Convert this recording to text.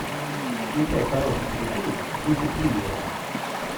включай хороший телефильм в духе триллера